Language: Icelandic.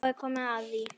Þá er komið að því!